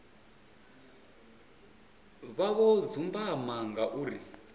vha zwo dzumbama nga uri